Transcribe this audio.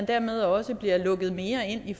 dermed også lukket mere ind i